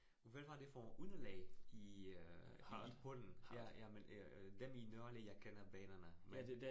Og hvad var det for et underlag i øh i bunden. Ja, ja men øh øh dem i Nørre Allé, jeg kender banerne. Men